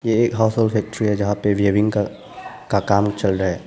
ये एक फैक्ट्री है जहां पे वीविंग का काम चल रहा है।